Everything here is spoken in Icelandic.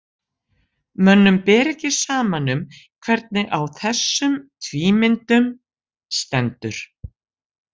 Mönnum ber ekki saman um hvernig á þessum tvímyndum stendur.